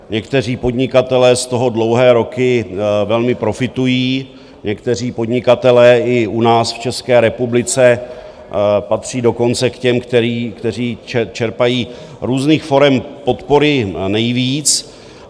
Někteří podnikatelé z toho dlouhé roky velmi profitují, někteří podnikatelé i u nás v České republice patří dokonce k těm, kteří čerpají různých forem podpory nejvíc.